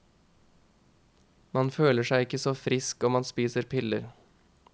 Man føler seg ikke så frisk om man spiser piller.